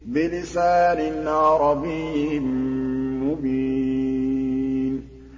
بِلِسَانٍ عَرَبِيٍّ مُّبِينٍ